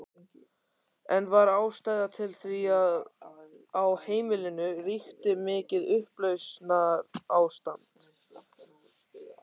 Enn var ástæða til því á heimilinu ríkti mikið upplausnarástand.